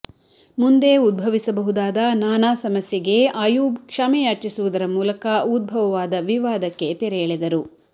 ಮುಂದೆ ಉದ್ಭವಿಸಬಹುದಾದ ನಾನಾ ಸಮಸ್ಯೆಗೆ ಆಯೂಬ್ ಕ್ಷಮೆಯಾಚಿಸುವುದರ ಮೂಲಕ ಉದ್ಭವವಾದ ವಿವಾದಕ್ಕೆ ತೆರೆ ಎಳೆದರು